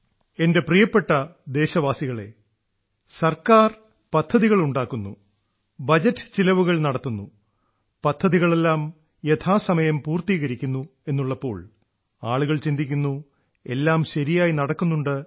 എന്റെ പ്രിയപ്പെട്ട ദേശവാസികളേ സർക്കാർ പദ്ധതികൾ ഉണ്ടാക്കുന്നു ബജറ്റ് ചിലവുകൾ നടത്തുന്നു പദ്ധതികളെല്ലാം യഥാസമയം പൂർത്തീകരിക്കുന്നു എന്നുള്ളപ്പോൾ ആളുകൾ ചിന്തിക്കുന്നു എല്ലാം ശരിയായി നടക്കുന്നുണ്ടെന്ന്